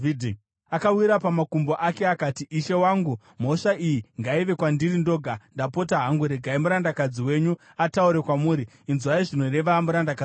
Akawira pamakumbo ake akati, “Ishe wangu, mhosva iyi ngaive kwandiri ndoga. Ndapota hangu regai murandakadzi wenyu ataure kwamuri; inzwai zvinoreva murandakadzi wenyu.